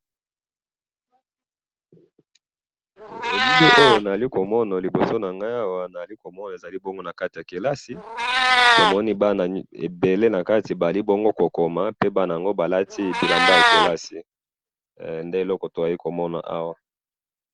he elili oyo nazali komona liboso nangayi awa nazali komona ezali bongo nakati ya kelasi tomoni bana ebele nakati bazali kokoma pe bana yango balati elamba ya kelasi pe nde eloko tozali komona awa